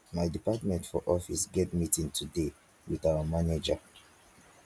my department for office get meeting today wit our manager